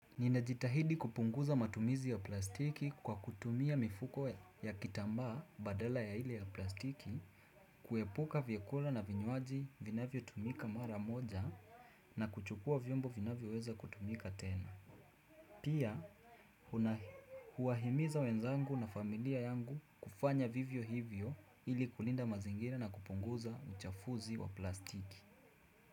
Ninajitahidi kupunguza matumizi ya plastiki kwa kutumia mifuko ya kitambaa badala ya ile ya plastiki kuepuka vyekula na vinywaji vinavyotumika mara moja na kuchukua vyombo vinavyoweza kutumika tena. Pia huwahimiza wenzangu na familia yangu kufanya vivyo hivyo ili kulinda mazingira na kupunguza mchafuzi wa plastiki.